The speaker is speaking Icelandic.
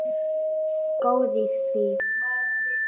Góð í því!